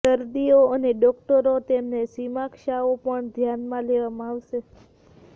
દર્દીઓ અને ડોકટરો તેમને સમીક્ષાઓ પણ ધ્યાનમાં લેવામાં આવશે